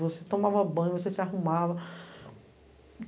Você tomava banho, você se arrumava.